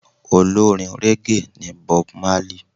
Olórin régè ni Bob Marley.